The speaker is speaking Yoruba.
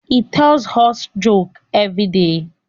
he tells us jokes everyday